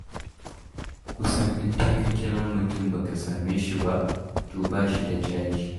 Kusan in dai ka kira mutum ba ka same shi ba, to ba shi da caji.